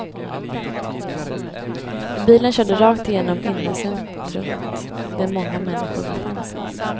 Bilen körde rakt igenom innecentrumet där många människor befann sig.